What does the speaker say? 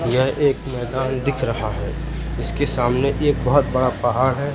यह एक मैदान दिख रहा हैं इसके सामने एक बाहोंत बड़ा पहाड़ हैं।